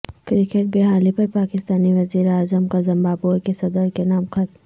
cricket بحالی پر پاکستانی وزیراعظم کا زمبابوے کے صدر کے نام خط